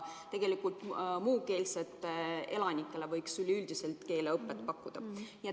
Kõigile muukeelsetele elanikele võiks üleüldiselt keeleõpet pakkuda.